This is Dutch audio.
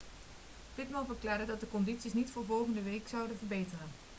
pittman verklaarde dat de condities niet voor volgende week zouden verbeteren